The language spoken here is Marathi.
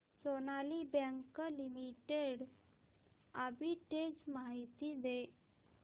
सोनाली बँक लिमिटेड आर्बिट्रेज माहिती दे